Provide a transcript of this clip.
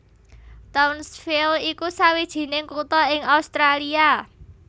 Townsville iku sawijining kutha ing Australia